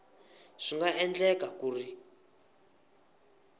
swi nga endleka ku ri